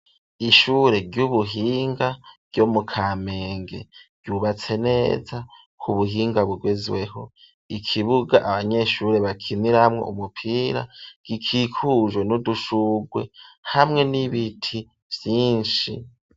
Ishure ry'ubuhinga ryo mu kamenge ryubatse neza kubuhinga bugezweho ikibuga abanyeshuri bakiniramwo umupira gikikujwe n'udushugwe hamwe n'ibiti vyinshi.